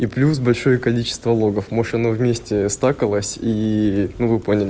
и плюс большое количество логов может вместе стаколось и ну вы поняли